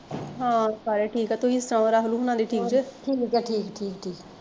ਹਾਂ ਸਾਰੇ ਠੀਕ ਐ ਤੁਸੀਂ ਸੁਣਾਓ ਰਾਹੁਲ ਹੁਣਾ ਦੀ ਠੀਕ ਜੇ